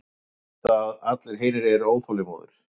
Ég veit að allir hinir eru óþolinmóðir.